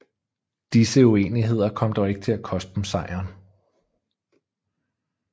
Disse uenigheder kom dog ikke til at koste dem sejren